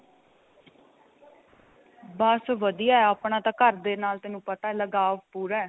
ਬੱਸ ਵਧੀਆ ਆਪਣਾ ਤਾਂ ਘਰ ਦੇ ਨਾਲ ਤੇਨੂੰ ਪਤਾ ਲਗਾਵ ਪੂਰਾ